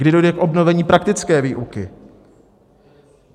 Kdy dojde k obnovení praktické výuky?